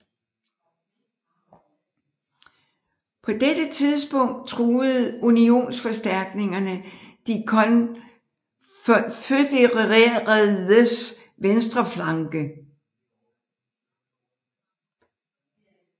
På dette tidspunkt truede unionsforstærkninger de konfødereredes venstre flanke